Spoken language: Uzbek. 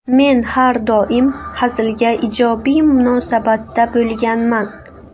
Men har doim hazilga ijobiy munosabatda bo‘lganman.